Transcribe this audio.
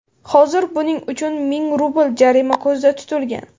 Hozir buning uchun ming rubl jarima ko‘zda tutilgan.